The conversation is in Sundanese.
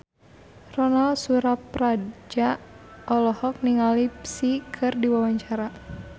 Ronal Surapradja olohok ningali Psy keur diwawancara